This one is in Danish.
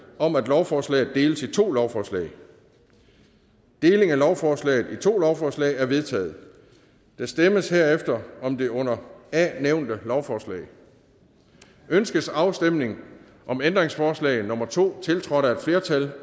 om at lovforslaget deles i to lovforslag deling af lovforslaget i to lovforslag er vedtaget der stemmes herefter om det under a nævnte lovforslag ønskes afstemning om ændringsforslag nummer to tiltrådt af et flertal